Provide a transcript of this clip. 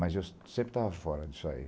Mas eu sempre estava fora disso aí.